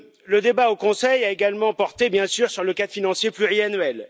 Le débat au Conseil a également porté bien sûr sur le cadre financier pluriannuel.